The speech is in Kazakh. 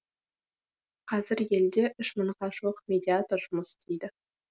қазір елде үш мыңға жуық медиатор жұмыс істейді